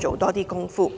做更多工夫。